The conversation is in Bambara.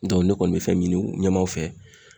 Dɔn ne kɔni be fɛn mi ɲini ɲɛmaw fɛ